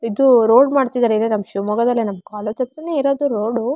ಇದು ರೋಡ್ ಮಾಡ್ತಿದ್ದಾರೆ ಈಗ ನಮ್ ಶಿವಮೊಗ್ಗದಲ್ಲೇ ನಮ್ ಕಾಲೇಜು ಹತ್ರನೇ ಇರೋದು ರೋಡ್ --